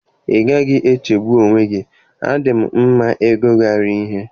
Ị gaghị echegbu onwe gị, A dị m mma n'ịgụgharị ihe.